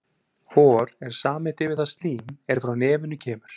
Hor er samheiti yfir það slím er frá nefinu kemur.